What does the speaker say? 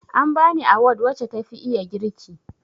An bani awad wace tafi iya girki